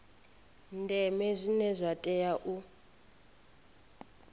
ndeme zwine zwa tea u